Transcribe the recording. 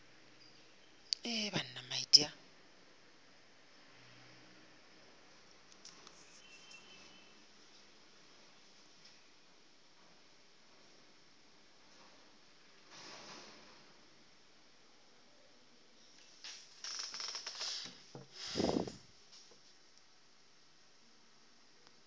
gore o tla be a